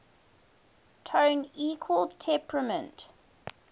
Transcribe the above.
tone equal temperament